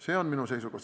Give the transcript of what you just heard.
See on minu seisukoht.